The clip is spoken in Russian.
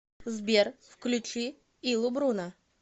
сбер включи илу бруна